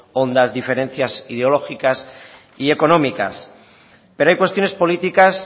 hondas diferencias ideológicas y económicas pero hay cuestiones políticas